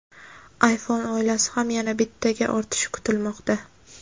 iPhone oilasi ham yana bittaga ortishi kutilmoqda.